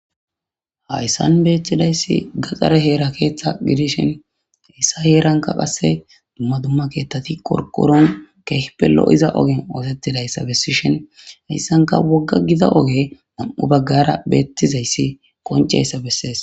Hayssan beeththidayssi gaxare heera keeththa gidishen issa heeranka qasse dumma dumma keettati qorqoron keehpelo' iza ogen ootettidayssa bessishhen hayssanka wogga giza oge nam'u baggara beettizayssi qonceyssa bessees.